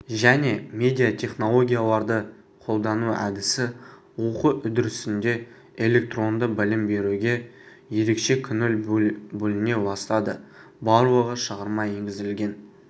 және медиатехнологияларды қолдану әдісі оқу үдерісінде электронды білім беруге ерекше көңіл бөліне бастады барлығы шығарма енгізілген